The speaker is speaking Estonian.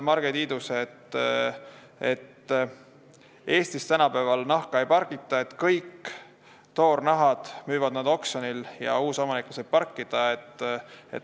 Marge Tiidus vastas, et Eestis tänapäeval nahka ei pargita, kõik toornahad müüvad nad oksjonil ja uus omanik laseb need parkida.